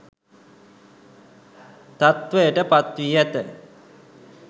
තත්ත්වයට පත් වී ඇත